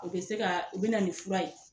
O be se ka o be na nin fura ye